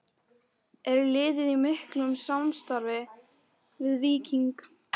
Er liðið í miklu samstarfi við Víking?